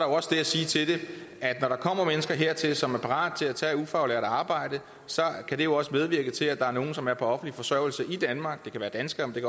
også det at sige til det at når der kommer mennesker hertil som er parate til at tage ufaglært arbejde så kan det jo også medvirke til at der er nogle som er på offentlig forsørgelse i danmark det kan være danskere men